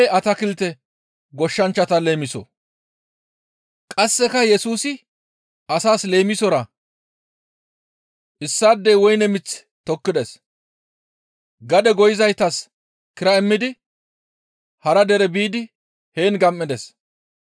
Qasseka Yesusi asaas leemisora, «Issaadey woyne mith tokkides; gade goyizaytas kira immidi hara dere biidi heen gam7ides.